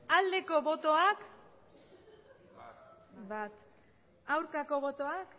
aldeko botoak aurkako botoak